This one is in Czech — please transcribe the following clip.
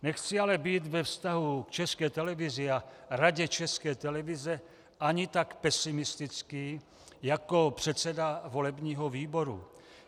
Nechci ale být ve vztahu k České televizi a Radě České televize ani tak pesimistický jako předseda volebního výboru.